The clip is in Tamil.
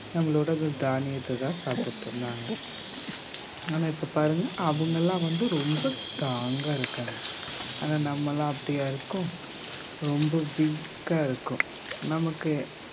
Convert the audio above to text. நம்மளோட அந்த தானியத்தைதான் சாப்பிட்டிட்டிருந்தாங்க ஆனா இப்ப பாருங்க அவங்கெல்லாம் வந்து ரொம்ப strong ஆ இருக்காங்க ஆனா நம்மெல்லாம் அப்படியா இருக்கோம் ரொம்ப weak ஆ இருக்கோம் நமக்கு